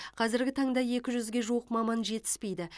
қазіргі таңда екі жүзге жуық маман жетіспейді